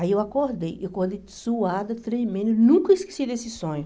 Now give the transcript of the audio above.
Aí eu acordei, eu acordei suada, tremendo, nunca esqueci desse sonho.